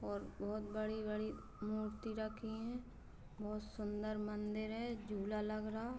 और बोहोत बड़ी-बड़ी मूर्ति रखी है। बोहोत सुन्दर मंदिर है। झूला लग रहा।